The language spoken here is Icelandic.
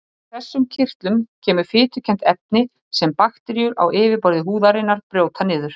Úr þessum kirtlum kemur fitukennt efni sem bakteríur á yfirborði húðarinnar brjóta niður.